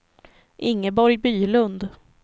Ingeborg Bylund